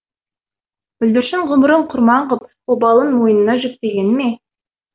бүлдіршін ғұмырын құрбан ғып обалын мойнына жүктегені ме